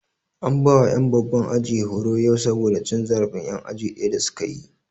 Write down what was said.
An bawa ƴan babban aji horo yau saboda cin zarafin ƴan aji ɗaya da su kayi